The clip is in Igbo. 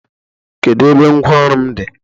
Kedu ebe ngwa ọrụ m dị?